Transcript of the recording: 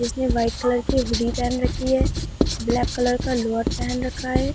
इसने white colour की hoodie पहन रखी है ब्लैक कलर का लोवर पहन रखा है।